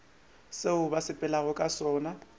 seo ba sepelago ka sona